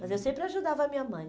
Mas eu sempre ajudava a minha mãe.